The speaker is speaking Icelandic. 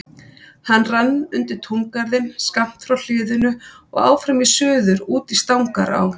Hann rann undir túngarðinn skammt frá hliðinu og áfram í suður út í Stangará.